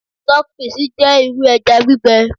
stockfish je iru eja gbígbẹ